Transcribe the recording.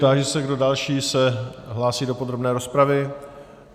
Táži se, kdo další se hlásí do podrobné rozpravy.